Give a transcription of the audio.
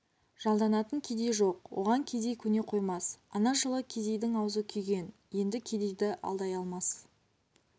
жалданатын кедей жоқ оған кедей көне қоймас ана жылы кедейдің аузы күйген енді кедейді алдай алмас